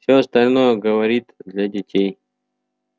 всё остальное говорит для детей